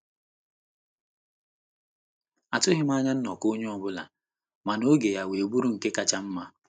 atughim anya nnọkọ onye ọbụla, mana oge ya wee bụrụ nke kacha mma.